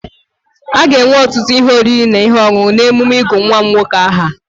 A ga-enwe ọtụtụ ihe oriri na ihe ọṅụṅụ n'emume ịgụ nwa m nwoke aha.